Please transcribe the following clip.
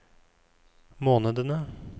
månedene